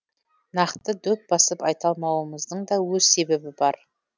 нақты дөп басып айта алмауымыздың да өз себебі бар